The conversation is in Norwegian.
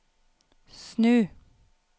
snu